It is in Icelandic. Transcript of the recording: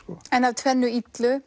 en af tvennu illu